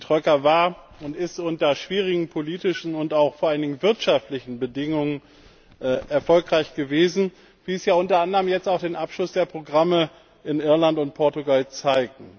Die Troika war und ist unter schwierigen politischen und auch vor allen Dingen wirtschaftlichen Bedingungen erfolgreich gewesen, wie es ja unter anderem auch der Abschluss der Programme in Irland und Portugal zeigt.